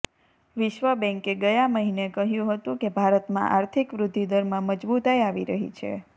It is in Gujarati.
વિશ્વ બેન્કે ગયા મહિને કહ્યુ હતુ કે ભારતમાં આર્થિક વૃદ્ધી દરમાં મજબુતાઈ આવી રહી છે